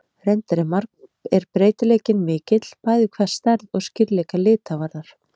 Reyndar er breytileikinn mikill, bæði hvað stærð og skýrleika lita varðar.